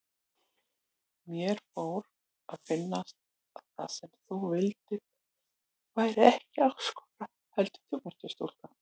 Mér fór að finnast að það sem þú vildir væri ekki ástkona heldur þjónustustúlka.